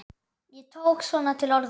Ég tók svona til orða.